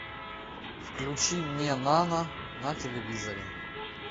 включи мне нано на телевизоре